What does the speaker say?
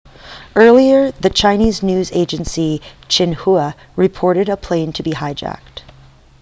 earlier the chinese news agency xinhua reported a plane to be hijacked